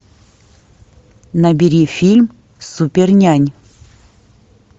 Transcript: набери фильм супер нянь